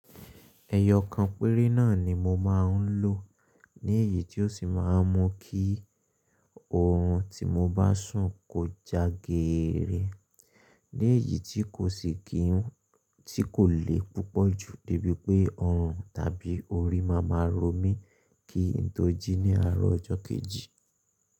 Ẹ̀yọ̀ kan péré náà ni mo máa ń lò ní èyí tí ó sì máa ń mú kí oorun tí mo bá sùn kó já geere, léyìí tí kò sì kí ń tí kò lè púpọ̀ ju débi pé ọrùn tàbí orí máa máa ro mí kí n tó jí ní àárọ̀ ọjọ́ kejì.